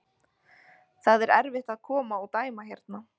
Það er erfitt að koma og dæma hérna.